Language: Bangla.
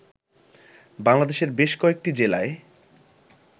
বাংলাদেশের বেশ কয়েকটি জেলায়